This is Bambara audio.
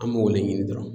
An b'o de ɲini dɔrɔn